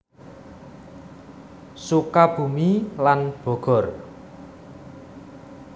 Sukabumi lan Bogor